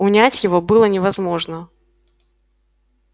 унять его было невозможно